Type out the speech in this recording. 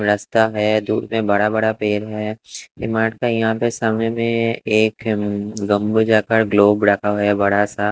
रस्ता है दूर में बड़ा बड़ा पेड़ है इमारत का यहां पे समय में एक गम हो जाता है ग्लोब रखा हुआ है बड़ा सा।